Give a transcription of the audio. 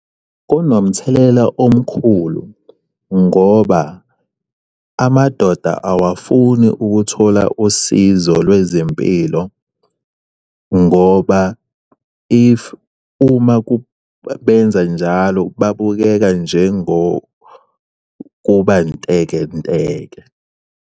Kunomthelela omkhulu ngoba amadoda awafuni ukuthola usizo lwezempilo ngoba if uma kubenza njalo babukeka njengo kuba ntekenteke.